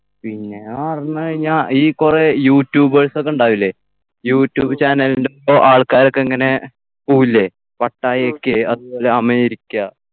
പിന്നെ അടുന്ന് കഴിഞ്ഞ ഈ കുറെ youtubers ഒക്കെ ഉണ്ടാവില്ലേ യൂട്യൂബ് channel ൻ്റെ ആൾക്കാരൊക്കെ ഇങ്ങനെ പോവില്ലേ പട്ടായയ്ക്ക് അതുപോലെ അമേരിക്ക